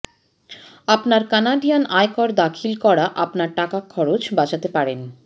আপনার কানাডিয়ান আয়কর দাখিল করা আপনার টাকা খরচ করতে পারেন